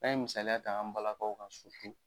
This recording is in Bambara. An ye misaliya ta an balakaw ka